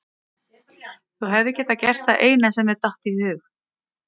Þú hefðir gert það eina sem þér gat dottið í hug.